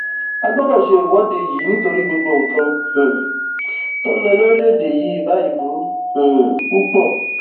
a gbọdọ ṣe ìwọde yìí nítorí gbogbo nǹkan um tó ń lọ lórílẹèdè yìí báyìí burú um púpọ